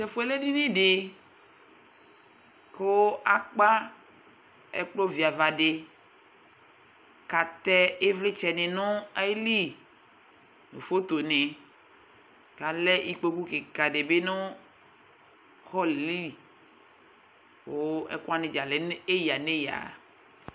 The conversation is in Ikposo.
Tɛfuɛ lɛ edini di, kʋ Akpa ɛklpɔ viava diKatɛ ivlitsɛ ni nʋ ayiliNʋ photo niKalɛ ikpoku kika dibi nʋ hallɛ liKʋ ɛkuwani dza lɛ nʋ eya neya